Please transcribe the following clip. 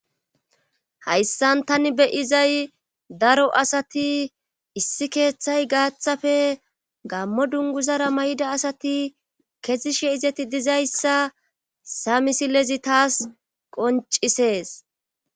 hayssan tani beyizay daro asati issi keeththay gaaththafe gammo dunguzara may7ida asati kezishe izeti dizayssa sa misilezi taas qoncisees